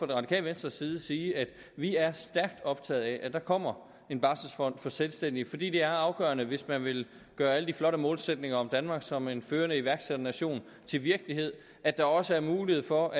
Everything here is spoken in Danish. det radikale venstres side sige at vi er stærkt optaget af at der kommer en barselfond for selvstændige fordi det er afgørende hvis man vil gøre alle de flotte målsætninger om danmark som en førende iværksætternation til virkelighed at der også er mulighed for